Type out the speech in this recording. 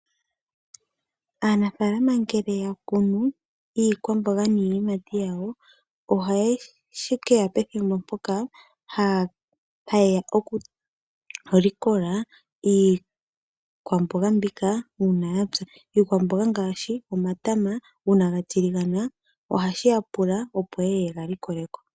Aanafaalama ngele ya kunu iikwamboga niiyimati ohashi keya pethimbo mpoka haye ya okulikola iikwamboga mbika uuna ya pya. Iikwamboga ngaashi omatama uuna ga tiligana ohashi ya pula yeye yega likole ko.